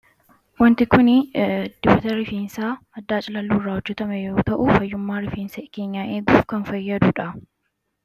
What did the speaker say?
wanti kun dibata rifiinsaa maddaa cilalluu irraa hojjetame yoo ta'u fayyummaa rifiinsa keenya eguuf kan fayyadudha